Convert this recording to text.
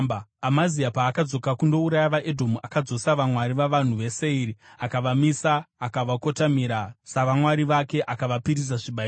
Amazia paakadzoka kundouraya vaEdhomu, akadzosa vamwari vavanhu veSeiri akavamisa, akavakotamira savamwari vake, akavapisira zvibayiro.